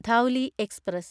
Dhauli express